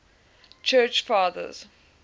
church fathers